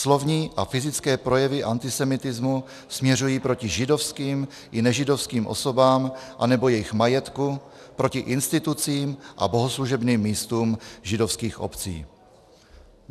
Slovní a fyzické projevy antisemitismu směřují proti židovským i nežidovským osobám anebo jejich majetku, proti institucím a bohoslužebným místům židovských obcí."